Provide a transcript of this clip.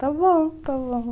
está bom, está bom.